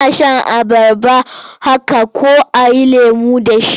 Ana shan abarba haka ko a yi lemo da ita.